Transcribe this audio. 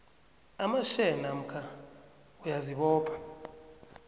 amashare namkha uyazibopha